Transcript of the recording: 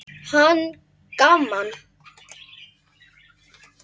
Hann: Gaman.